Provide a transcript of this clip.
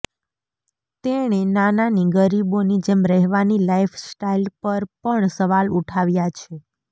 તેણે નાનાની ગરીબોની જેમ રહેવાની લાઈફસ્ટાઇલ પર પણ સવાલ ઉઠાવ્યા છે